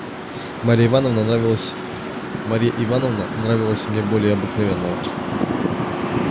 марья ивановна нравилась марья ивановна нравилась мне более обыкновенного